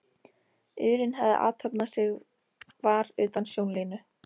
urinn hafði athafnað sig var utan sjónlínu.